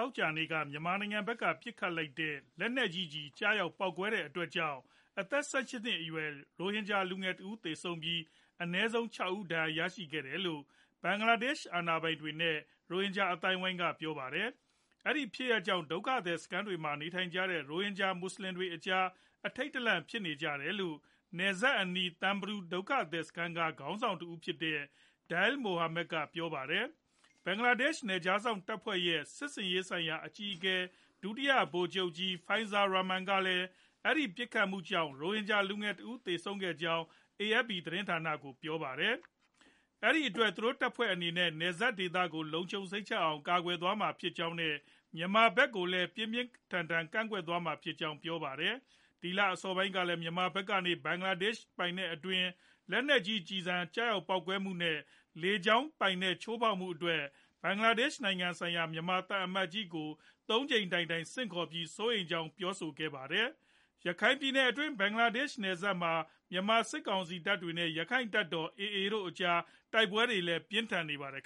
ောကြာနေ့က မြန်မာဖက်က ပစ်ခတ်လိုက်တဲ့ မော်တာကျည် ကျရောက်ပေါက်ကွဲခဲ့တဲ့အတွက် အသက် ၁၈ နှစ်အရွယ် ရိုဟင်ဂျာ လူငယ်တဦး သေဆုံးပြီး အနည်းဆုံး ၆ ဦး ဒဏ်ရာရရှိခဲ့တယ်လို့ ဘင်္ဂလားဒေ့ရှ် အာဏာပိုင်တွေနဲ့ ရိုဟင်ဂျာ အသိုင်းအဝိုင်းက ပြောပါတယ်။ အဲဒီလို ဖြစ်ရပ်ကြောင့် နယ်စပ်အနီး ဒုက္ခသည်စခန်းတွေမှာ နေထိုင်ကြတဲ့ ရိုဟင်ဂျာ မွတ်ဆလင်တွေအကြား အထိတ်တလန့် ဖြစ်နေကြတယ်လို့် နယ်စပ်အနီး Tumbru ဒုက္ခသည်စခန်းက ခေါင်းဆောင်တဦးဖြစ်တဲ့ Dil Mohammad က ပြောပါတယ်။ ဘင်္ဂလားဒေ့ရှ် နယ်ခြားစောင့်တပ်ဖွဲ့ရဲ့ စစ်ဆင်ရေးဆိုင်ရာ အကြီးအကဲ ဒုတိယ ဗိုလ်ချုပ်ကြီး Faizur Rahman ကလည်း အဲဒီပစ်ခတ်မှုကြောင့် ရိုဟင်ဂျာ လူငယ်တဦး သေဆုံးခဲ့ကြောင်း AFP သတင်းဌာန ကို ပြောပါတယ်။ အဲဒီအတွက် သူတို့တပ်ဖွဲ့အနေနဲ့ နယ်စပ်ဒေသကို လုံခြုံစိတ်ချအောင် ကာကွယ်သွားမှာ ဖြစ်ကြောင်း နဲ့ မြန်မာဖက်ကိုလည်း ပြင်းပြင်းထန်ထန် ကန့်ကွက်သွားမှာဖြစ်ကြောင်း ပြောပါတယ်။ ဒီလအစောပိုင်းကလည်း မြန်မာဖက်ကနေ ဘင်္ဂလားဒေရှ်ပိုင်နက်အတွင်း လက်နက်ကြီး ကျည်ဆံကျရောက်ပေါက်ကွဲမှုနဲ့ လေကြောင်းပိုင်နက် ချိုးဖောက်မှုတို့အတွက် ဘင်္ဂလားေ့ဒရှ်ဆိုင်ရာ မြန်မာသံအမတ်ကြီးကို သုံးကြိမ်တိုင်တိုင် ဆင့်ခေါ်ပြီး စိုးရိမ်ကြောင်း ပြောဆိုခဲ့ပါတယ်။ ရခိုင်ပြည်နယ်အတွင်း ဘင်္ဂလားဒေ့ရှ်နယ်စပ်မှာ မြန်မာစစ်ကောင်စီတပ်တွေနဲ့ ရခိုင်တပ်တော် AA တို့ အကြားတိုက်ပွဲတွေ ပြင်းထန်နေပါတယ်